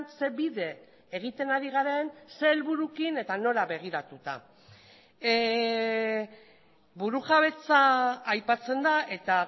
ze bide egiten ari garen zein helbururekin eta nora begiratuta burujabetza aipatzen da eta